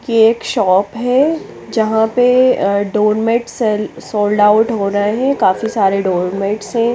ये एक शॉप है जहाँ पे अ डोर्मेट सेल सोल्डआउट हो रहे है काफी सारे डोर मेट्स है।